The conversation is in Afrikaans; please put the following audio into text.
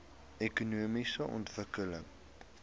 ekonomiese ontwikkeling